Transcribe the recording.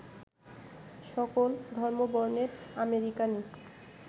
সকল ধর্মবর্ণের আমেরিকানই